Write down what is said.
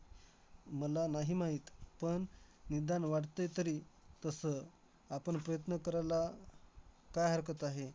तू सांगशील का कशा type चे असतात पहिली step काय दुसरी step काय.